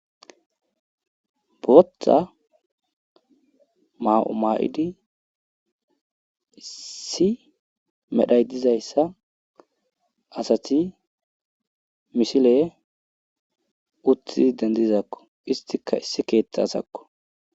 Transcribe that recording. boththa ma7umaa7idi isi medhay dizayssa asati misilee uttidi dendizakko istika issi keeththa asakko